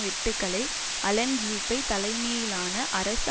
வெட்டுக்களை Alain Juppe தலைமையிலான அரசு